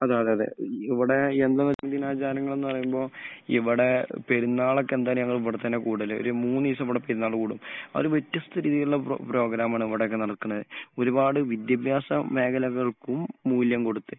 അതെയതെ. ഇവിടെ ദിനാചാരങ്ങൾ എന്ന് പറയുമ്പോൾ ഇവിടെ പെരുന്നാളൊക്കെ എന്താ പറയാ ഞങ്ങൾ ഇവിടെ തന്നെയാ കൂടൽ. ഒരു മൂന്ന് ദിവസം ഇവിടെ പെരുന്നാൾ കൂടും. ഒരു വലിയ സ്ഥിതിയിൽ ഉള്ള പ്രോഗ്രാം ആണ് ഇവിടെക്കെ നടക്കുന്നത്. ഒരുപാട് വിദ്യാഭ്യാസ മേഖലകൾക്കും മൂല്യം കൊടുത്ത്.